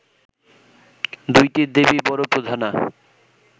দুইটি দেবী বড় প্রধানা